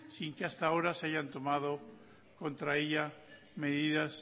sin que hasta ahora se hayan tomado contra ella medidas